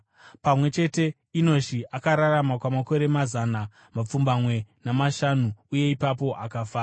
Pamwe chete, Enoshi akararama kwamakore mazana mapfumbamwe namashanu, uye ipapo akafa.